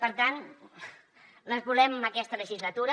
per tant les volem aquesta legislatura